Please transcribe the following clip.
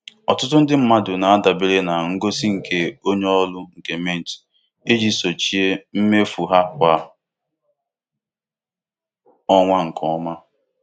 Ọtụtụ ndị mmadụ na-adabere na ngosi nke onye ọrụ nke Mint iji sochie mmefu ha kwa ọnwa nke ọma.